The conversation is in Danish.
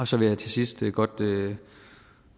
så vil jeg til sidst godt